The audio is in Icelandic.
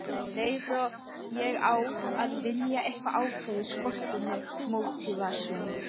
Um leið og ég á að vilja eitthvað ákveðið skortir mig mótívasjón.